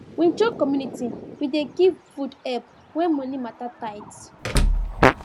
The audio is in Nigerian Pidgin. we join community we dey give food help when money matter tight